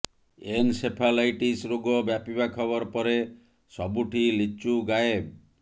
encephalitis ରୋଗ ବ୍ୟାପିବା ଖବର ପରେ ସବୁଠି ଲିଚୁ ଗାଏବ